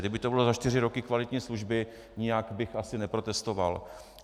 Kdyby to bylo za čtyři roky kvalitní služby, nijak bych asi neprotestoval.